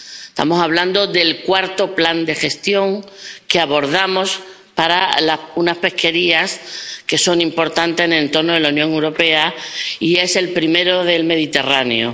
Estamos hablando del cuarto plan de gestión que abordamos para unas pesquerías que son importantes en el entorno de la Unión Europea y que es el primero del Mediterráneo.